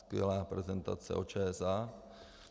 Skvělá prezentace o ČSA.